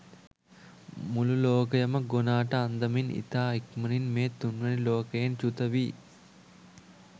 මුළු ලෝකයම ගොනාට අන්දමින් ඉතා ඉක්මණින් මේ තුන්වැනි ලෝකයෙන් චුත වී